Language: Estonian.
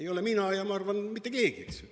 Ei ole mina ja ma arvan, et ei ole mitte keegi, eks.